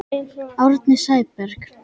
Árni Sæberg